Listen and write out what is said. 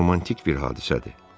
Bu çox romantik bir hadisədir.